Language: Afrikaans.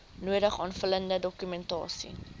nodige aanvullende dokumentasie